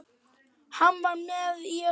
Hann var með í öllu.